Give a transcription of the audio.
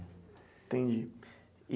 Entendi.